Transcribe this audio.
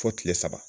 Fo kile saba